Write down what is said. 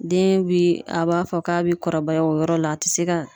Den bi, a b'a fɔ k'a bi kɔrɔbaya o yɔrɔ la a te se ka